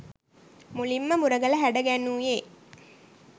මුලින්ම මුරගල හැඩ ගැන්වූයේ